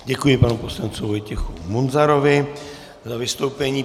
Děkuji panu poslanci Vojtěchu Munzarovi za vystoupení.